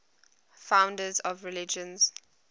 founders of religions